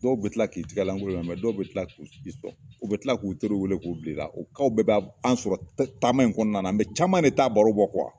Dɔw be Kila k'i tigɛlankolon bila mɛ dɔw be kila k'u ci fɔ u be tila k'u teriw weele k'u bil'ila o caw bɛɛ ba anw sɔrɔ taama in kɔnɔna mɛ caman de taa baro bɔ kuwa